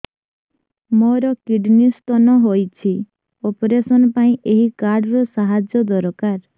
ମୋର kidney stone ହଇଛି operation ପାଇଁ ଏହି କାର୍ଡ ର ସାହାଯ୍ୟ ଦରକାର